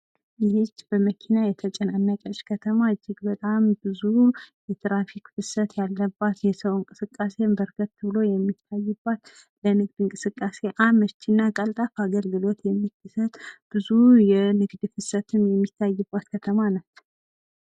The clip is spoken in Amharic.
ይህች በመኪና የተጨናነቀች ከተማ ፤ እጅግ በጣም ብዙ የትራፊክ ፍሰት ያለባት፣ የሰዉ እንቅስቃሴም በርከት ብሎ የሚታይባት፣ ለንግድ እንቅስቃሴ አመች እና ቀልጣፋ አገልግሎት የምትሰጥ፣ ብዙ የንግድ ፍሰትም የሚታይባት ከተማ ናት።